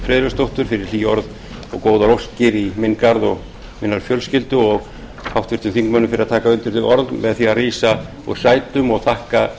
friðleifsdóttur fyrir hlý orð og góðar óskir í minn garð og minnar fjölskyldu og háttvirtum þingmönnum fyrir að taka undir þau orð með því að rísa úr sætum